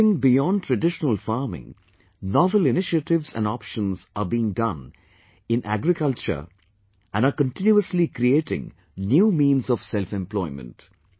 moving beyond traditional farming, novel initiatives and options are being done in agriculture and are continuously creating new means of selfemployment